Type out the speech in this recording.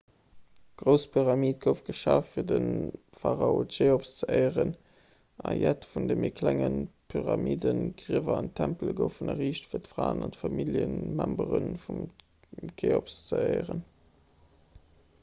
d'grouss pyramid gouf geschaf fir de pharao cheops ze éieren a jett vun de méi klenge pyramiden griewer an tempele goufen erriicht fir d'fraen a familljemembere vum cheops ze éieren